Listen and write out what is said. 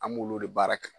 An b'olu de baara kɛ